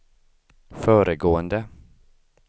föregående